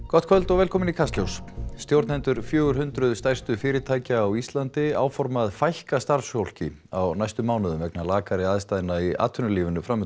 gott kvöld og velkomin í Kastljós stjórnendur fjögur hundruð stærstu fyrirtækja á Íslandi áforma að fækka starfsfólki á næstu mánuðum vegna lakari aðstæðna í atvinnulífinu